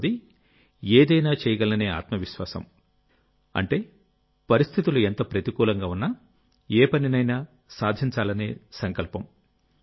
మూడవది ఏదైనా చేయగలననే ఆత్మ విశ్వాసంఅంటే పరిస్థితులు ఎంత ప్రతికూలంగా ఉన్నా ఏ పనినైనా సాధించాలనే సంకల్పం